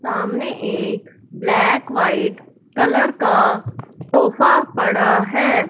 सामने एक black white colour का तोफा पड़ा है।